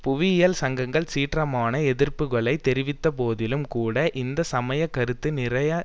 புவியியல் சங்கங்கள் சீற்றமான எதிர்ப்புக்களை தெரிவித்தபோதிலும்கூட இந்த சமய கருத்து நிறைந்த